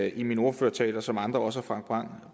i min ordførertale og som andre også har